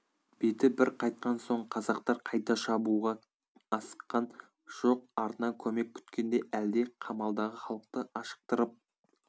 беті бір қайтқан соң қазақтар қайта шабуға асыққан жоқ артынан көмек күткендей әлде қамалдағы халықты ашықтырып